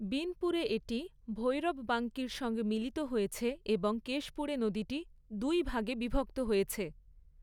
বিনপুরে এটি ভৈরববাঙ্কির সঙ্গে মিলিত হয়েছে এবং কেশপুরে নদীটি দুই ভাগে বিভক্ত হয়েছে।